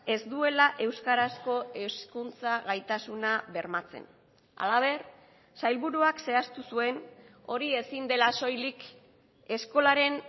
ez duela euskarazko hezkuntza gaitasuna bermatzen halaber sailburuak zehaztu zuen hori ezin dela soilik eskolaren